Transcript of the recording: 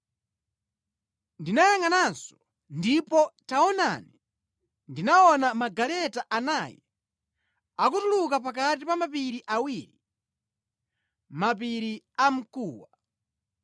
Ndinayangʼananso ndipo taonani ndinaona magaleta anayi akutuluka pakati pa mapiri awiri, mapiri amkuwa.